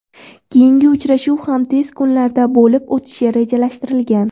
Keyingi uchrashuv ham tez kunlarda bo‘lib o‘tishi rejalashtirilgan.